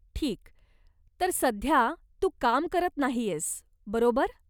ठीक, तर सध्या तू काम करत नाहीयेस, बरोबर?